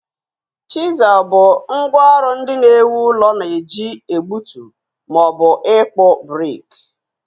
Chisel bụ ngwá ọrụ ndị na-ewu ụlọ na-eji egbutu ma ọ bụ ịkpụ brik